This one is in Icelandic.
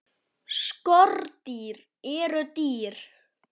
Skordýr eru dýr.